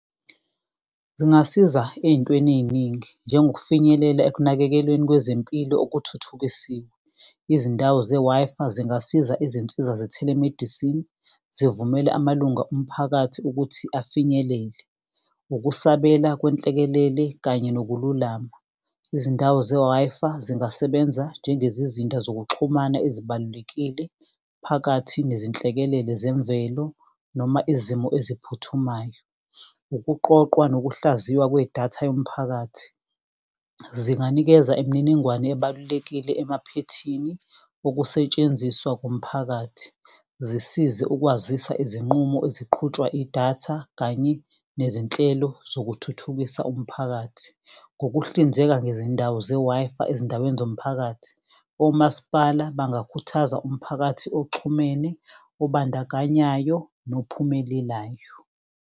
Zingasiza ey'ntweni ey'ningi njengokufinyelela ekunakekelweni kwezempilo okuthuthukisiwe. Izindawo ze-Wi-Fi zingasiza izinsiza ze-telemedicine, zivumele amalunga omphakathi ukuthi afinyelele. Ukusabela kwenhlekelele kanye nokululama. Izindawo ze-Wi-Fi zingasebenza njengezizinda zokuxhumana ezibalulekile. Phakathi nezinhlekelele zemvelo noma izimo eziphuthumayo. Ukuqoqwa nokuhlaziywa kwedatha yomphakathi, zinganikeza imininingwane ebalulekile emaphethini ukusetshenziswa komphakathi. Zisize ukwazisa izinqumo eziqhutshwa idatha kanye nezinhlelo zokuthuthukisa umphakathi. Ngokuhlinzeka ngezindawo ze-Wi-Fi ezindaweni zomphakathi, omasipala bangakhuthaza umphakathi oxhumene, obandakanyayo, nokuphumelelayo.